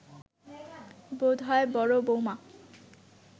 বোধ হয় বড় বৌমা